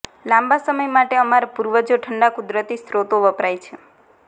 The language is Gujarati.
લાંબા સમય માટે અમારા પૂર્વજો ઠંડા કુદરતી સ્રોતો વપરાય છે